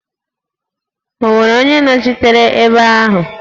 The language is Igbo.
Ọ nwere onye nnọchiteanya ebe ahụ?